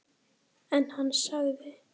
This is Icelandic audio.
En hann sagði